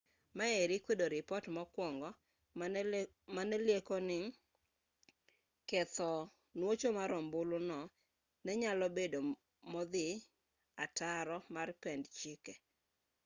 maeri kwedo ripot mokwongo mane lieko ni ketho nuocho mar ombulu no ne nyalo bedo modhi ataro mar pend chike